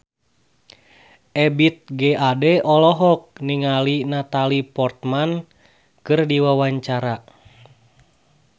Ebith G. Ade olohok ningali Natalie Portman keur diwawancara